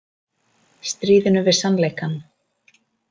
Stríðinu við sannleikann